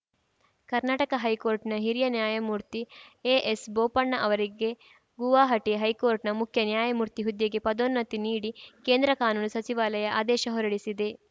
ಕರ್ನಾಟಕ ಹೈಕೋರ್ಟ್‌ನ ಹಿರಿಯ ನ್ಯಾಯಮೂರ್ತಿ ಎಎಸ್‌ಬೋಪಣ್ಣ ಅವರಿಗೆ ಗುವಾಹಟಿ ಹೈಕೋರ್ಟ್‌ನ ಮುಖ್ಯ ನ್ಯಾಯಮೂರ್ತಿ ಹುದ್ದೆಗೆ ಪದೋನ್ನತಿ ನೀಡಿ ಕೇಂದ್ರ ಕಾನೂನು ಸಚಿವಾಲಯ ಆದೇಶ ಹೊರಡಿಸಿದೆ